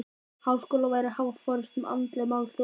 Háskóla væri að hafa forystu um andleg mál þjóðarinnar.